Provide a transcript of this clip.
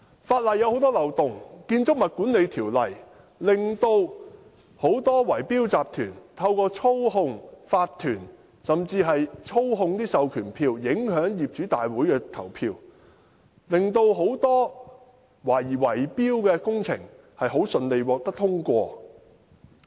法例存在很多漏洞，《建築物管理條例》讓很多圍標集團可透過操控法團，甚至操控授權書，影響業主大會的投票，令很多懷疑是圍標的工程得以順利通過。